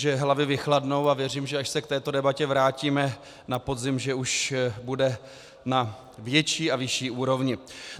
Že hlavy vychladnou a věřím, že až se k této debatě vrátíme na podzim, už bude na větší a vyšší úrovni.